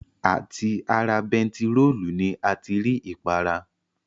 À ti ara bentiróòlù ni a ti rí ìpara